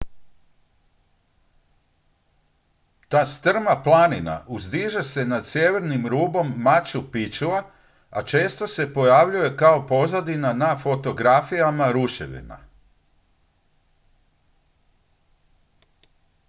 ta strma planina uzdiže se nad sjevernim rubom machu picchua a često se pojavljuje kao pozadina na fotografijama ruševina